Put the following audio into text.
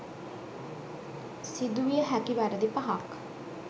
සිදුවිය හැකි වැරදි පහක්